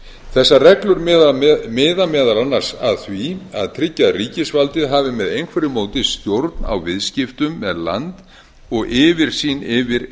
þessar reglur miða meðal annars að því að tryggja að ríkisvaldið hafi með einhverju móti stjórn á viðskiptum með land og yfirsýn yfir